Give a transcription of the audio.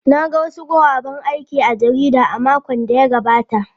Na ga wasu guraben aiki a jarida a makon da ya gabata.